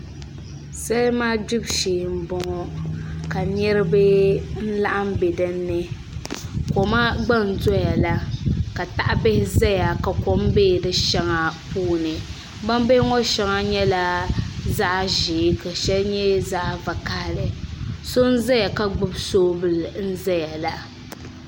Salima gbibu shee n boŋo ka niraba laɣam n bɛ dinni koma gba n doya la ka tahabihi ʒɛya ka kom bɛ di shɛŋa puuni gbambihi ŋo shɛŋa nyɛla zaɣ ʒiɛ ka shɛli nyɛ zaɣ vakaɣali so n ʒɛya ka gbibi soobuli n ʒɛya la